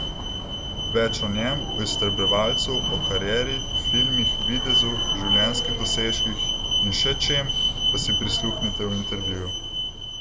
Več o njem, o Iztrebljevalcu, o karieri, filmih, videzu, življenjskih dosežkih in še čem, pa si prisluhnite v intervjuju!